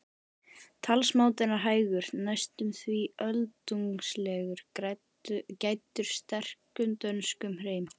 Talsmátinn er hægur, næstum því öldungslegur, gæddur sterkum dönskum hreim.